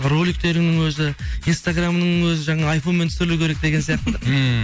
роликтерінің өзі инстаграмының өзі жаңа айфонмен түсірілу керек деген сияқты ммм